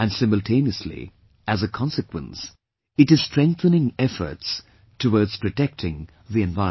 And simultaneously as a consequence, it is strengthening efforts towards protecting the environment